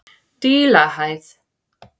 Dílahæð